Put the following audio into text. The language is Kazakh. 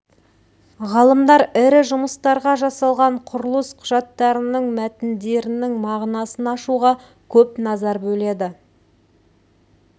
ғалымдар ірі жұмыстарға жасалған құрылыс құжаттарының мәтіндерінің мағынасын ашуға көп назар бөледі